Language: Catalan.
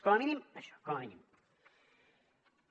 com a mínim això com a mínim